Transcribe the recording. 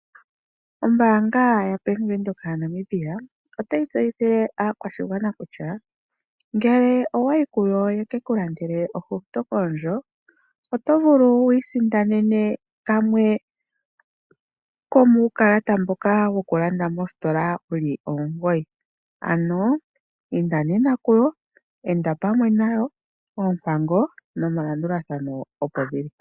Ombaanga yaBank Windhoek yaNamibia, otayi tseyithile aakwashigwana kutya ngele owa yi kuyo ye ke ku landele ohauto koondjo, oto vulu wiisindanene kamwe komuukalata mboka hawu wokulanda mositola wu li omugoyi. Ano, inda nena kuyo, enda pamwe nayo. Oompango nomalandathano opo dhi li.